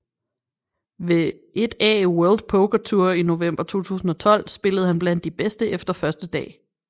Ved 1A World Poker Tour i november 2012 spillede han blandt de bedste efter første dag